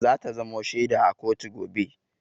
Za ta zamo shaida a kotu gobe.